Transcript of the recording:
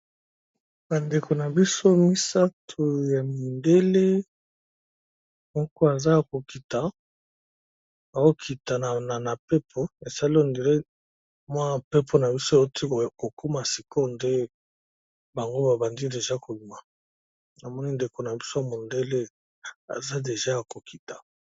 Bandeko na biso misato ya mindele moko aza ya kokita akokitaa na mpepo esali ndele mwa mpepo na biso eoti kokuma siko nde bango babandi deja kobima. namoni ndeko na biso ya mondele aza deja ya kokita.